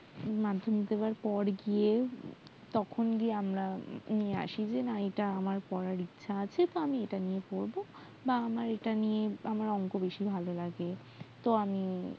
মাধ্যমিক দেওয়ার পর গিয়ে তখন্ গিয়ে আমরা নিয়ে আসি যে এটা নিয়ে আমার পড়ার ইচ্ছা আছে তো আমি এটা নিয়ে পড়বো বা আমার এটা নিয়ে বা অঙ্ক বেশি ভালো লাগে